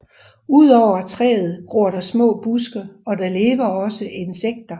Udover træet gror der små buske og der lever også insekter